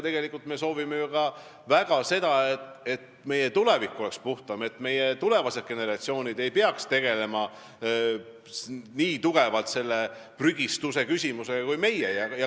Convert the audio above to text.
Tegelikult me soovime ju väga ka seda, et meie tulevik oleks puhtam, et tulevased generatsioonid ei peaks nii tugevalt tegelema prügistamise küsimusega kui meie.